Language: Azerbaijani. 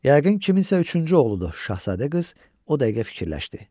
Yəqin kimsə üçüncü oğludur Şahzadə qız, o dəqiqə fikirləşdi.